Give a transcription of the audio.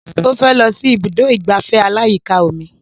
Ó fẹ́ lọ sí ibùdó ìgbafẹ́ aláyíká omi